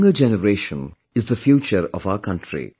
The younger generation is the future of our country